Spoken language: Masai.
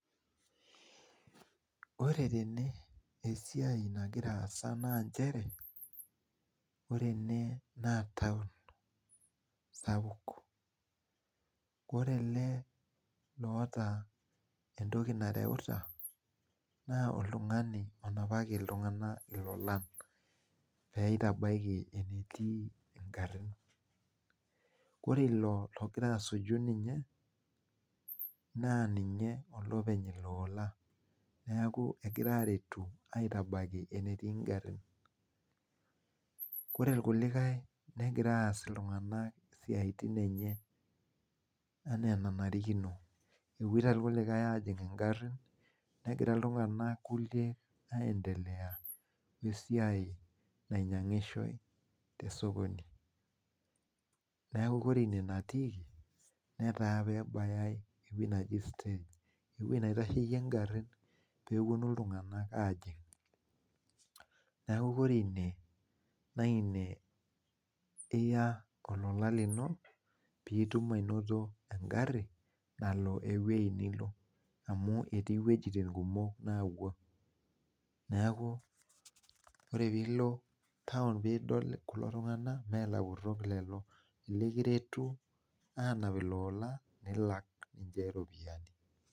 Ore tene esiai nagira aasa naa nchere, ore ene naa taon sapuk. Ore ele loota entoki nareuta naa oltung'ani onapaki iltung'anak ilolan peeitabaiki enetii ingarrin. Ore ilo logira asuju ninye naa ninye olopeny ilo ola. Neeku egirae aaretu aitabaiki enetii ngarrin. Kore irkulikae negira aas iltung'anak isiaitin enye enaa enarikino. Epwoita irkulikae aajing' ingarrin, negira iltung'anak kulie aendelea wesiai nainyang'ishoe te sokoni. Neeku kore ine natiiki netaa peebayai ewueji naji stage ewueji naitasheyie ngarrin peepwonu iltung'anak aajing'. Neeku kore ine naa ine iya olola lino piitum ainoto engarri nalo ewuei nilo amu etii ewuejitin kumok naapwo. Neeku ore piilo taon piidol kulo tung'anak mee ilapurrok lelo, ilekiretu aanap iloola nilak ninche iropiyiani